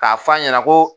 K'a fɔ a ɲɛna ko